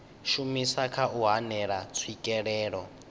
shumisa kha u hanela tswikelelo